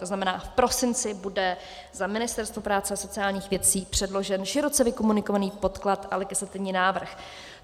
To znamená, v prosinci bude na Ministerstvo práce a sociálních věcí předložen široce vykomunikovaný podklad a legislativní návrh.